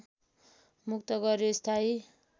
मुक्त गर्‍यो स्थायी